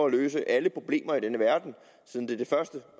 løse alle problemer i denne verden siden det er det første